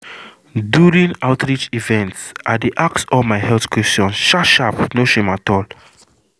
during outreach event i dey ask all my health questions sharp sharp no shame at all.